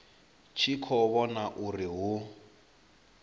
tshi khou vhona uri hu